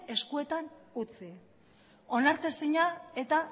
eskuetan utzi onartezina eta